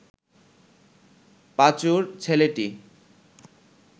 পাঁচুর ছেলেটি